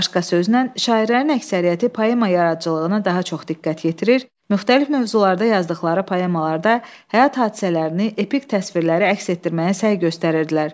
Başqa sözlə, şairlərin əksəriyyəti poema yaradıcılığına daha çox diqqət yetirir, müxtəlif mövzularda yazdıqları poemalarda həyat hadisələrini epik təsvirlərə əks etdirməyə səy göstərirdilər.